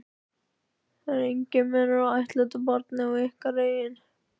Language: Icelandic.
Það er enginn munur á ættleiddu barni og ykkar eigin.